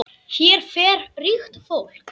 Hér fer ríkt fólk.